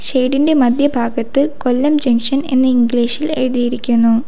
Shade ഇൻ്റെ മധ്യഭാഗത്ത് Kollam junction എന്ന് ഇംഗ്ലീഷ് ഇൽ എഴുതിയിരിക്കുന്നു.